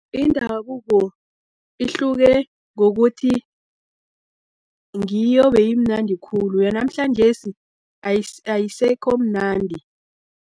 Indabuko ihluke ngokuthi, ngiyo beyimnandi khulu, yanamhlanjesi ayisekho mnandi.